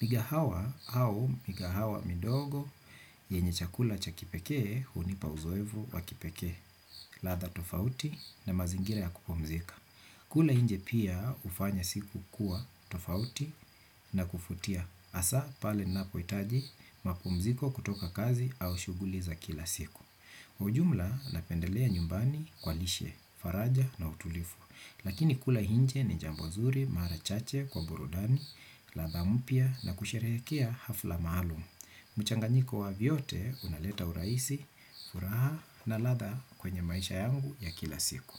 Migahawa au migahawa midogo, yenye chakula cha kipekee, hunipa uzoefu wa kipekee, ladha tofauti na mazingira ya kupumzika. Kula nje pia hufanya siku kuwa tofauti na kuvutia. Hasa pale ninapohitaji mapumziko kutoka kazi au shughuli za kila siku. Ujumla napendelea nyumbani kwa lishe, faraja na utulivu. Lakini kula nje ni jambo zuri, mara chache kwa burudani, ladha mpya na kusherehekea hafla maalum. Mchanganyiko wa vyote unaleta urahisi, furaha na ladha kwenye maisha yangu ya kila siku.